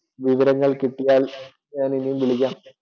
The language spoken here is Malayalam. വിവരങ്ങൾ കിട്ടിയാൽ ഞാൻ ഇനിയും വിളിക്കാം.